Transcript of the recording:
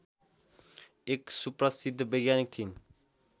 एक सुप्रसिद्ध वैज्ञानिक थिइन्